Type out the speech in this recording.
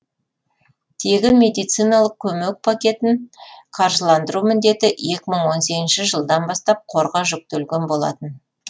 тегін медициналық көмек пакетін қаржыландыру міндеті екі мың он сегізінші жылдан бастап қорға жүктелген болатын